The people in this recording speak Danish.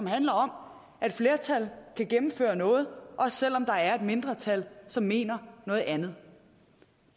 handler om at et flertal kan gennemføre noget også selv om der er et mindretal som mener noget andet